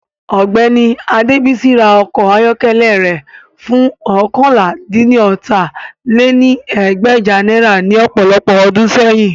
Ọgbẹni Adebisi ra ọkọ ayọkẹlẹ rẹ fun oókànlá-dín-ní-ọ́ta lé ní ẹgbẹ́je naira ni ọpọlọpọ ọdun sẹyin